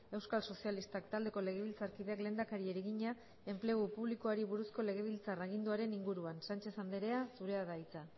euskal sozialistak taldeko legebiltzarkideak lehendakariari egina enplegu publikoari buruzko legebiltzar aginduaren inguruan sánchez andrea zurea da hitza